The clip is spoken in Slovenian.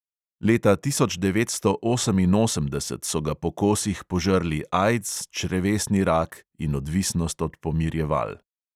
Leta tisoč devetsto oseminosemdeset so ga po kosih požrli aids, črevesni rak in odvisnost od pomirjeval.